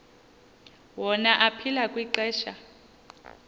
wona aphila kwixesha